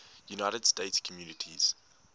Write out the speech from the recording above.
united states communities